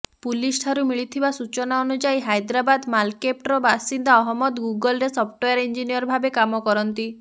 ପୁଲିସ୍ଠାରୁ ମିଳିଥିବା ସୂଚନା ଅନୁଯାୟୀ ହାଇଦ୍ରାବାଦ୍ର ମଲକ୍ପେଟ୍ର ବାସିନ୍ଦା ଅହମ୍ମଦ ଗୁଗଲ୍ରେ ସଫ୍ଟୱେର ଇଂଞ୍ଜିନିୟର ଭାବେ କାମ କରନ୍ତି